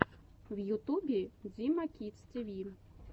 в ютубе дима кидс ти ви